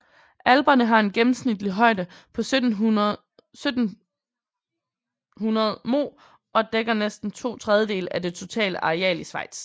Alperne har en gennemsnitlig højde på 1700 moh og dækker næsten to tredjedele af det totale areal i Schweiz